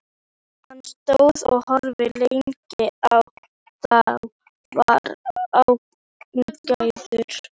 Hann stóð og horfði lengi á þá og var ánægður.